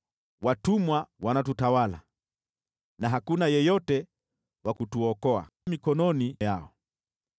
Watumwa wanatutawala na hakuna wa kutuokoa mikononi yao.